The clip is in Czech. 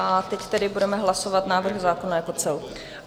A teď tedy budeme hlasovat návrh zákona jako celku.